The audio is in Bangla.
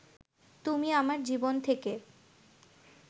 তুমি আমার জীবন থেকে